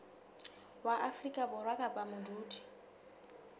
wa afrika borwa kapa modudi